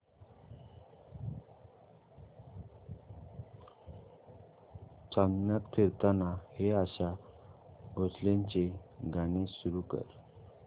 चांदण्यात फिरताना हे आशा भोसलेंचे गाणे सुरू कर